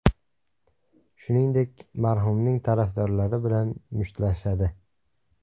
Shuningdek, marhumning tarafdorlari bilan mushtlashadi.